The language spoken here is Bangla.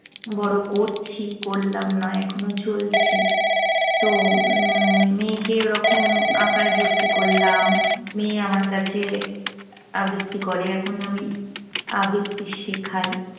বড় করছি। করলাম নয়। এখনো চলছে। তো উম মেয়েকে ওরকম আঁকায় ভর্তি করলাম। মেয়ে আমার কাছে আবৃত্তি করে। এখন আমি আবৃত্তি শেখাই।